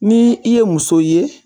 Ni i ye muso ye